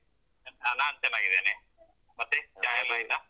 ಆ ನಾನ್ ಚೆನ್ನಾಗಿದ್ದೇನೆ ಮತ್ತೇ ಚಾ ಎಲ್ಲ ಆಯ್ತಾ?